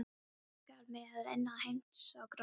Það nagar mig að innan einsog rotta.